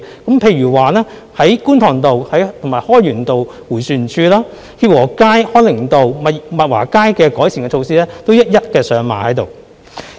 舉例來說，在觀塘道和開源道迴旋處、協和街、康寧道和物華街的改善措施均一一上馬。